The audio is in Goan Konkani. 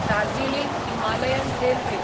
Darjeeling Himalayan railway